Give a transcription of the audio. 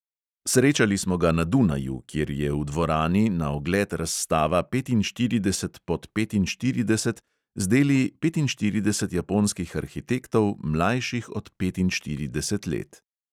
Srečali smo ga na dunaju, kjer je v dvorani na ogled razstava petinštirideset pod petinštirideset z deli petinštirideset japonskih arhitektov, mlajših od petinštirideset let.